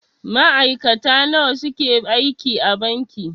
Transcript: Ma'aikata nawa suke aiki a banki.